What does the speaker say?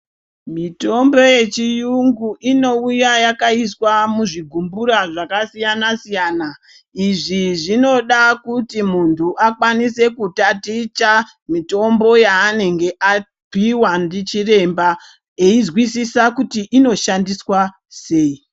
Mitombo yechiyungu inouya yakaiswa muzvigumbura zvakasiyana siyana. Izvi zvinoda kuti muntu akwanise kutaticha mitombo yaanenge apiwa ndichiremba eizwisisa kuti inoshandiswa sei.